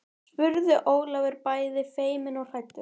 spurði Ólafur bæði feiminn og hræddur.